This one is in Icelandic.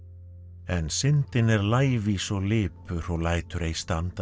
en syndin er lævís og lipur og lætur ei standa á